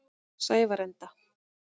Sævarenda